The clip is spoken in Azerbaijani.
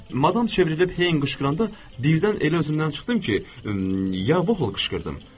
Madam çevrilib Heyn qışqıranda birdən elə özümdən çıxdım ki, "Ya-voh!" qışqırdım.